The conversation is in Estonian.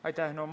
Aitäh!